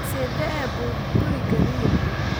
Sidee buu gurigani yahay?